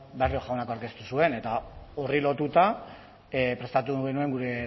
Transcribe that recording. barrio jaunak hartu zuen eta horri lotuta prestatu genuen gure